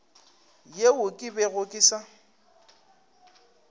yeo ke bego ke sa